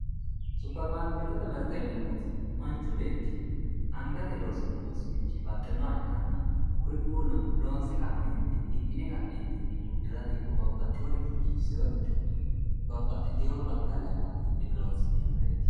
Supiremaarketete mirte yineemmoti manchi beetti angate loosini baxinoha ikkanna kuriuuno loonsa ka'netinni, hidhine ka'netinni udirate babbaxerinni biifiserichoti ,babbaxitino batala amadinoreti